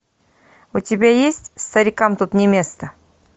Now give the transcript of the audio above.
у тебя есть старикам тут не место